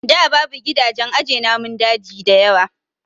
Da babu gidajen aje namun daji dayawa